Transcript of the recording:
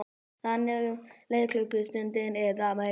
Þannig leið klukkustund eða meira.